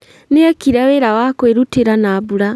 Nĩekire wĩra wa kwĩrutĩra na mbura